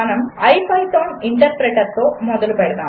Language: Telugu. మనము ఐపైథాన్ ఇంటర్ప్రెటర్తో మొదలు పెడదాము